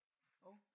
Hov